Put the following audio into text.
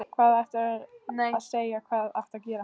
Hvað átti ég að segja, hvað átti ég að gera?